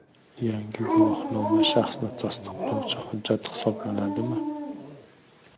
Yangi guvohnoma shaxsni tasdiqlovchi hujjat hisoblanadimi?